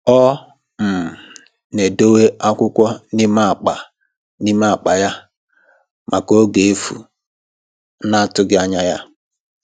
Ọ um na-edowe akwụkwọ n'ime akpa n'ime akpa ya maka oge efu na-atụghị anya ya